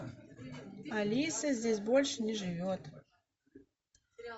алиса здесь больше не живет